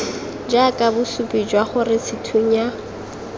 jaaka bosupi jwa gore sethunya